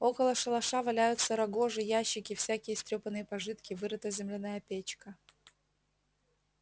около шалаша валяются рогожи ящики всякие истрёпанные пожитки вырыта земляная печка